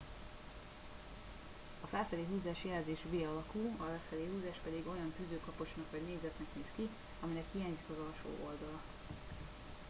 a felfelé húzás jelzés v alakú a lefelé húzás pedig olyan tűzőkapocsnak vagy négyzetnek néz ki aminek hiányzik az alsó oldala